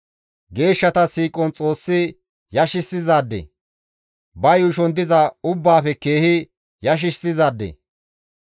Geeshshata shiiqon Xoossi yashissizaade; Ba yuushon diza ubbaafe keehi yashissizaade.